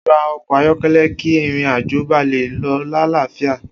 O ra ọkọ ayọkẹlẹ ki ìrìn àjò ba le lọ l'alafia